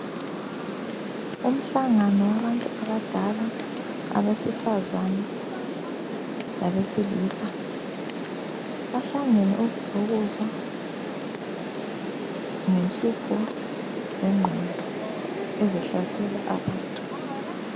Umhlangano wabatu abadala, abesifazane labesilisa. Bahlangene ukuzokuzwa ngenhlupho zengqondo ezihlasela abantu.